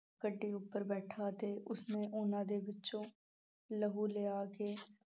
ਗੱਡੀ ਉੱਪਰ ਬੈਠਾ ਤੇ ਉਸਨੇ ਉਹਨਾਂ ਦੇ ਵਿੱਚੋਂ ਲਹੂ ਲਿਆ ਕੇ